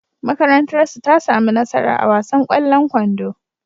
Makarantarsu ta sami nasara a wasan ƙwallon kwando.